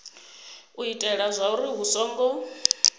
u itela zwauri hu songo